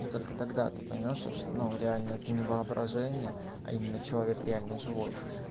только тогда ты поймёшь то что ну реально это не воображение а именно человек реально живой